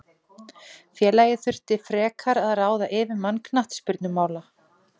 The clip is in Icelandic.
Félagið þurfi frekar að ráða yfirmann knattspyrnumála.